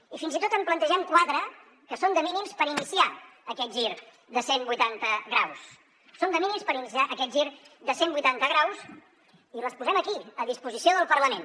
i fins i tot en plantegem quatre que són de mínims per iniciar aquest gir de cent vuitanta graus són de mínims per iniciar aquest gir de cent vuitanta graus i les posem aquí a disposició del parlament